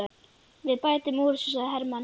Við bætum úr því, sagði Hermann.